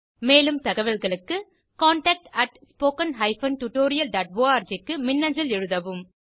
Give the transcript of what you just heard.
மேலும் தகவல்களுக்கு contactspoken tutorialorg க்கு மின்னஞ்சல் எழுதவும்